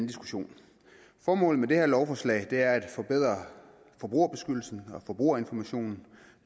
diskussion formålet med det her lovforslag er at forbedre forbrugerbeskyttelsen og forbrugerinformationen